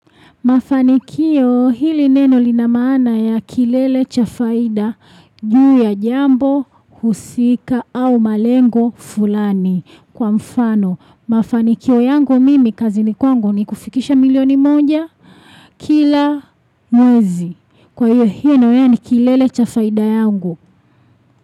Mafanikio hili neno lina maana ya kilele cha faida juu ya jambo, husika au malengo fulani. Kwa mfano, mafanikio yangu mimi kazi ni kwangu ni kufikisha milioni moja kila mwezi. Kwa hiyo naona ni kilele cha faida yangu.